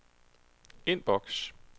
indboks